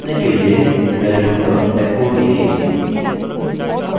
इसको जाँचने के लिए मैं लिखूँगा echo name